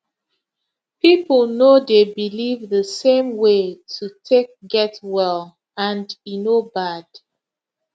people no dey believe the same way to take get well and e no bad